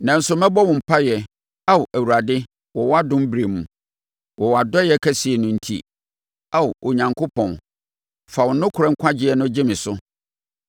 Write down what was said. Nanso mɛbɔ wo mpaeɛ, Ao Awurade, wɔ wʼadom berɛ mu; wɔ wʼadɔeɛ kɛseɛ no enti, Ao Onyankopɔn, fa wo nokorɛ nkwagyeɛ no gye me so.